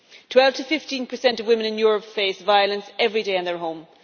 Twelve to fifteen per cent of women in Europe face violence every day in their home.